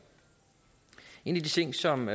en af de ting som